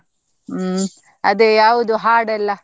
ಹ್ಮ್, ಅದೇ ಯಾವ್ದು ಹಾಡೆಲ್ಲ?